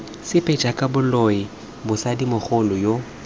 sepe jaaka boloi mosadimogolo yoo